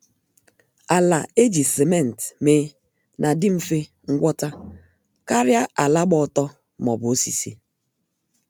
Ala eji simenti mee na-adi mfe ngwọta karịa ala gba ọtọ maọbụ osisi